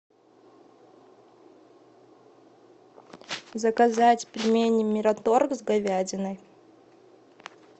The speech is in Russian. заказать пельмени мираторг с говядиной